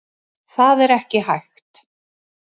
Það er ekki hægt.